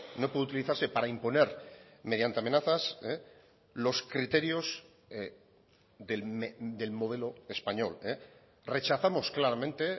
no puede utilizarse para imponer mediante amenazas los criterios del modelo español rechazamos claramente